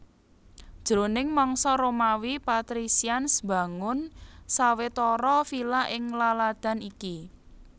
Jroning mangsa Romawi patricians mbangun sawetara vila ing laladan iki